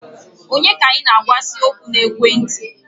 Onye ka ị na-agwa si okwu na ekwenti?